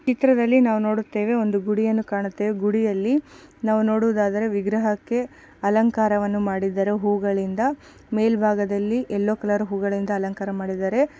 ಚಿತ್ರದಲ್ಲಿ ನಾವು ಕಾಣುತ್ತೇವೆ ಒಂದು ಗುಡಿಯನ್ನು ಕಾಣುತ್ತೇವೆ ಗುಡಿಯಲ್ಲಿ ನಾವು ನೋಡುವುದಾದರೆ ವಿಗ್ರಹಕ್ಕೆ ಅಲಂಕಾರವನ್ನು ಮಾಡಿದ್ದಾರೆ ಮೇಲ್ಭಾಗದಲ್ಲಿ ಎಲ್ಲೋ ಕಲರ್ ಹೂಗಳಿಂದ ಅಲಂಕಾರ ಮಾಡಿದ್ದಾರೆ.